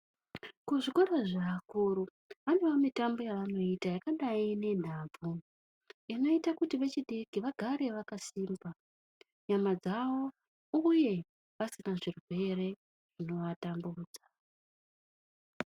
Kuzvikora zvaakuru, panewo mitambo yevanoita, yakadai nenhabvu, inoite kuti vechidiki vagare vakasimba nyama dzavo uye vagare vasina zvirwere zvinovatambudza.